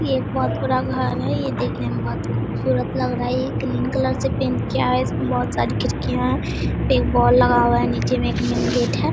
ये एक बहुत बड़ा घर है ये देखने मे बहुत खुबसूरत लग रहा है ये ग्रीन कलर से पैंट किया है इसमें बहुत सारी खिड़कियाँ हैं एक बॉल लगा हुआ है नीचे में एक मेन गेट है।